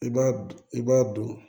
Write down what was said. I b'a du i b'a don